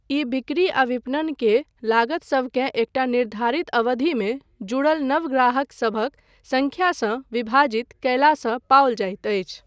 ई बिक्री आ विपणन के लागतसभकेँ एकटा निर्धारित अवधिमे जुड़ल नव ग्राहकसभक संख्यासँ विभाजित कयलासँ पाओल जाइत अछि।